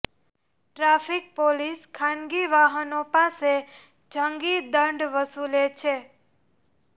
traffic police ખાનગી વાહનો પાસે જંગી દંડ વસુલે છે